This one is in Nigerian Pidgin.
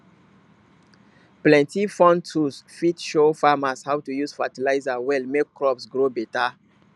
plenty phone tools fit show farmers how to use fertilizer well make crops grow better